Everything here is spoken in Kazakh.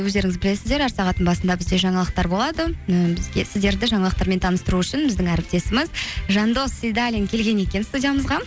өздеріңіз білесіздер әр сағаттың басында бізде жаңалықтар болады і сіздерді жаңалықтармен таныстыру үшін біздің әріптесіміз жандос сейдаллин келген екен студиямызға